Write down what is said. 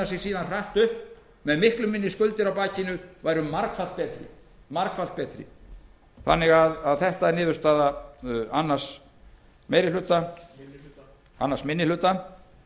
sig síðan hratt upp með miklu minni skuldir á bakinu væru margfalt betri þetta er niðurstaða önnur meiri hluta annar minni hluta